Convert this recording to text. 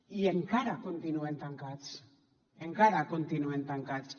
i encara continuen tancats encara continuen tancats